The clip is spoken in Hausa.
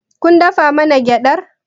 Kun dafa mana gyaɗar?